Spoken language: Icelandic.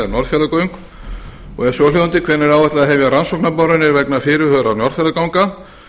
fyrsta hvenær er áætlað að hefja rannsóknarboranir vegna fyrirhugaðra norðfjarðarganga